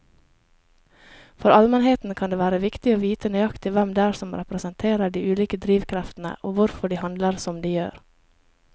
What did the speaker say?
For allmennheten kan det være viktig å vite nøyaktig hvem det er som representerer de ulike drivkreftene og hvorfor de handler som de gjør.